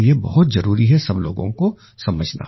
तो ये बहुत जरूरी है सब लोगों को समझना